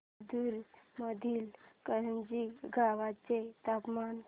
जिंतूर मधील करंजी गावाचे तापमान